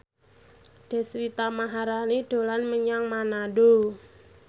Deswita Maharani dolan menyang Manado